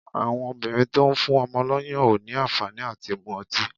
Àwọn obìnrin tó ń fún ọmọ lọ́yàn ò ní àǹfàní à ti mú ọtí.